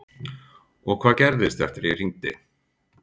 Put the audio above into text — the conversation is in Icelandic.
Og hvað gerðist eftir að ég hringdi?